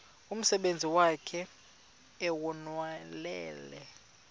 umsebenzi wakhe ewunonelele